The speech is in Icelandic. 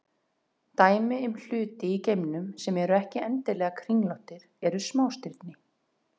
Dæmi um hluti í geimnum sem eru ekki endilega kringlóttir eru smástirni.